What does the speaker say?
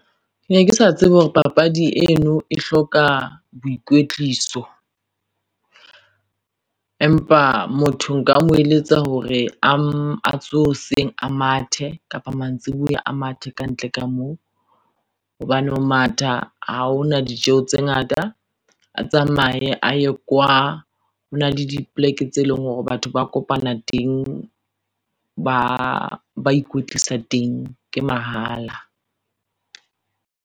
Ke ne ke sa tsebe hore papadi eno e hloka boikwetliso. Empa motho nka mo eletsa hore a tsohe hoseng a mathe kapa mantsiboya a mathe kantle ka moo hobane ho matha ha hona ditjeho tse ngata, a tsamaye a ye kwa. Hona le dipoleke tse leng hore batho ba kopana teng ba ikwetlisa teng ke mahala.